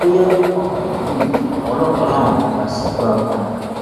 bóyá ó mọ tàbí kò mọ àwọn ọlọpàá làwọn máa bá a ṣẹjọ apààyàn